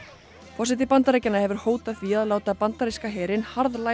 forseti Bandaríkjanna hefur hótað því að láta bandaríska herinn